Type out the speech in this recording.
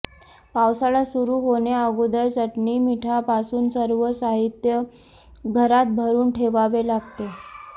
पावसाळा सुरू होण्याअगोदर चटणी मिठापासून सर्व साहित्य घरात भरून ठेवावे लागते